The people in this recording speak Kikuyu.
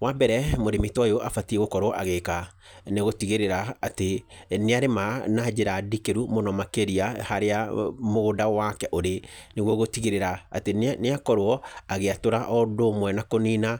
Wa mbere, mũrĩmi ta ũyũ abatiĩ gũkorwo agĩĩka nĩ gũtigĩrĩra atĩ nĩ arĩma na njĩra ndikĩru mũno makĩrĩa harĩa mũgũnda wake ũrĩ, nĩ guo gũtigĩrĩra atĩ nĩ akorwo agĩatũra o ũndũ ũmwe na kũnina